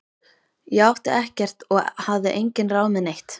Ég átti ekkert og hafði engin ráð með neitt.